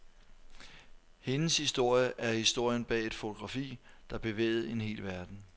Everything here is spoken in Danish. Hendes historie er historien bag et fotografi, der bevægede en hel verden.